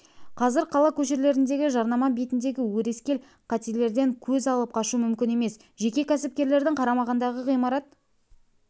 қазір қала көшелеріндегі жарнама бетіндегі өрескел қателерден көз алып қашу мүмкін емес жеке кәсіпкерлердің қарамағындағы ғимарат